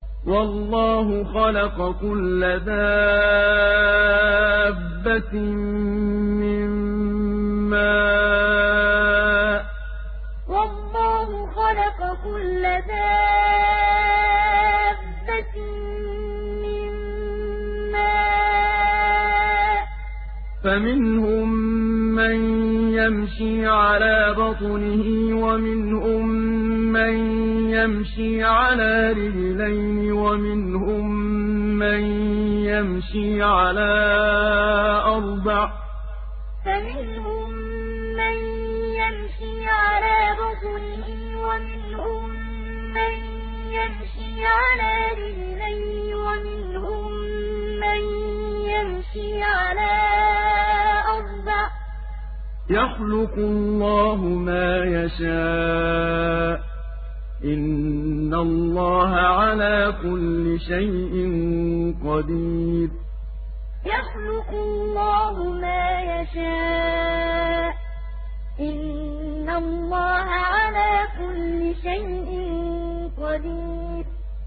وَاللَّهُ خَلَقَ كُلَّ دَابَّةٍ مِّن مَّاءٍ ۖ فَمِنْهُم مَّن يَمْشِي عَلَىٰ بَطْنِهِ وَمِنْهُم مَّن يَمْشِي عَلَىٰ رِجْلَيْنِ وَمِنْهُم مَّن يَمْشِي عَلَىٰ أَرْبَعٍ ۚ يَخْلُقُ اللَّهُ مَا يَشَاءُ ۚ إِنَّ اللَّهَ عَلَىٰ كُلِّ شَيْءٍ قَدِيرٌ وَاللَّهُ خَلَقَ كُلَّ دَابَّةٍ مِّن مَّاءٍ ۖ فَمِنْهُم مَّن يَمْشِي عَلَىٰ بَطْنِهِ وَمِنْهُم مَّن يَمْشِي عَلَىٰ رِجْلَيْنِ وَمِنْهُم مَّن يَمْشِي عَلَىٰ أَرْبَعٍ ۚ يَخْلُقُ اللَّهُ مَا يَشَاءُ ۚ إِنَّ اللَّهَ عَلَىٰ كُلِّ شَيْءٍ قَدِيرٌ